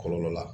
Kɔlɔlɔ la